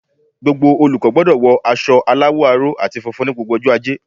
Gbogbo olùkó gbodò wo aso aláwò aró àti funfun ní gbogbo ojó ajé